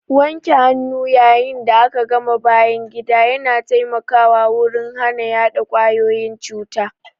Wanke hannu yayin da aka gama bayan gida ya na taimakawa wurin hana yaɗa kwayoyin cuta.